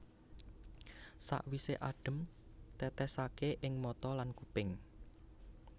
Sawisé adhem tètèsaké ing mata lan kuping